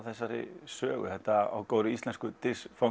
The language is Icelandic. þessari sögu þetta svokallaða á góðrí íslensku